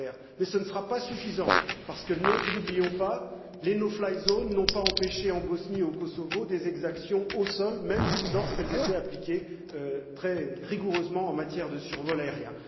Mais ce ne sera pas suffisant parce que, ne l'oublions pas, les no fly zone n'ont pas empêché en Bosnie et au Kosovo des exactions au sol, même lorsqu'elles étaient appliquées très rigoureusement en matière de survol aérien.